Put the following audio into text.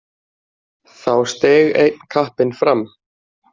Þá steig einn kappinn fram.